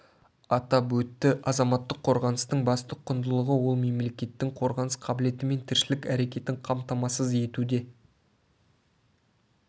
атап өтті азаматтық қорғаныстың басты құндылығы ол мемлекеттің қорғаныс қабілеті мен тіршілік әрекетін қамтамасыз етуде